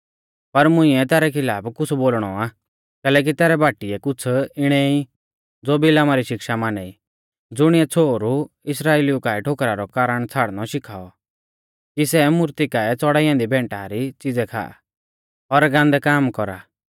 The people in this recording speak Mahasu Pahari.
पर मुंइऐ तैरै खिलाफ कुछ़ बोलणौ आ कैलैकि तैरै बाटीऐ कुछ़ इणै ई ज़ो बिलामा री शिक्षा माना ई ज़ुणिऐ छ़ोहरु इस्राइलिऊ काऐ ठोकरा रौ कारण छ़ाड़णौ शिखाऔ कि सै मूर्ती काऐ च़ड़ाई ऐन्दी भैंटा री च़ीज़ै खा और गान्दै काम कौरा